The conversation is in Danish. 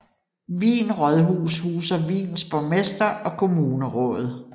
Wien Rådhus huser Wiens borgmester og kommunerådet